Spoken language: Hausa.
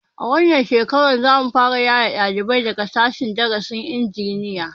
A wannan shekarar za mu fara yaye ɗalibai daga sashen darasin injiniya